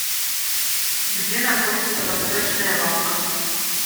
где находится восточная лавка